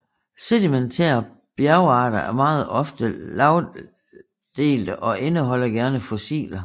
Sedimentære bjergarter er meget ofte lagdelte og indeholder gerne fossiler